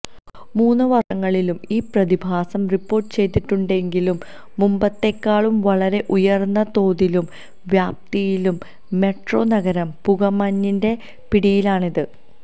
മുന് വര്ഷങ്ങളിലും ഈ പ്രതിഭാസം റിപ്പോര്ട്ട് ചെയ്തിട്ടുണ്ടെങ്കിലും മുമ്പത്തെക്കാളും വളരെ ഉയര്ന്ന തോതിലും വ്യാപ്തിയിലും മെട്രോ നഗരം പുകമഞ്ഞിന്റെ പിടിയിലാണിന്ന്